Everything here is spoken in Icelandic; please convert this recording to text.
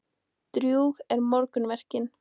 Drjúg eru morgunverkin.